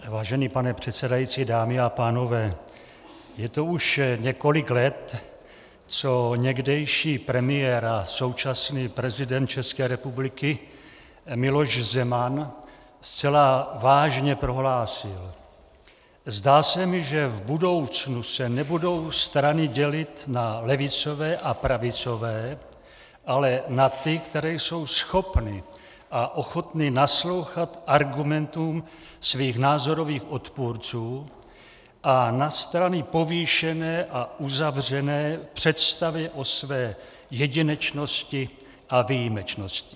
Vážený pane předsedající, dámy a pánové, je to už několik let, co někdejší premiér a současný prezident České republiky Miloš Zeman zcela vážně prohlásil: Zdá se mi, že v budoucnu se nebudou strany dělit na levicové a pravicové, ale na ty, které jsou schopny a ochotny naslouchat argumentům svých názorových odpůrců, a na strany povýšené a uzavřené v představě o své jedinečnosti a výjimečnosti.